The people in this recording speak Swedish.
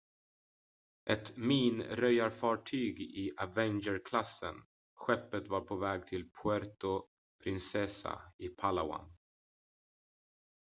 ett minröjarfartyg i avenger-klassen skeppet var på väg till puerto princesa i palawan